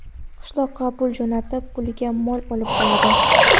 Qishloqqa pul jo‘natib puliga mol olib qo‘yadi.